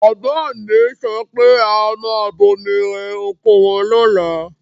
Bàbá mi sọ pé a máa bomi rẹ oko wọn lọ́la.